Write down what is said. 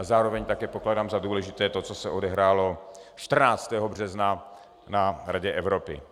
A zároveň také pokládám za důležité to, co se odehrálo 14. března na Radě Evropy.